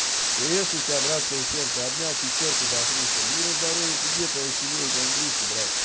приветствую тебя братское сердце обнял пятёрку до хруста мира здоровья тебе и твоей семье и твоим близким